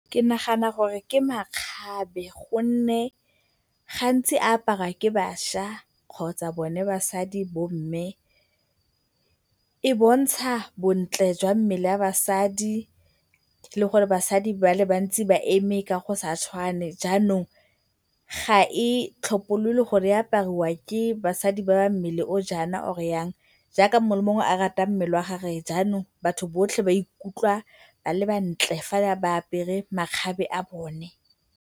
Ke nagana gore ke makgabe gonne gantsi a aparwa ke bašwa kgotsa bone basadi, bomme. E bontsha bontle jwa mmele wa basadi le gore basadi ba le bantsi ba eme ka go sa tshwane jaanong, ga e tlhopholole gore e apariwa ke basadi ba ba mmele o o jaana or jang jaaka mongwe le mongwe a rata mmele wa gagwe jaanong batho botlhe ba ikutlwa ba le bantle fa ba apere makgabe a bone.